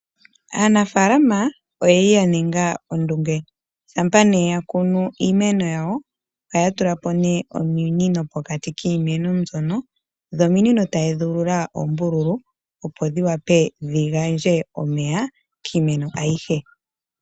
Aanafaalama oyeli ya ninga ondunge. Shampa nee ya kuna iimeno yawo ohaya tula po ominino pokati kiimeno mbyono, dho ominino taye dhi ulula oombululu opo dhi wape dhi gandje omeya kiimeno oyihe.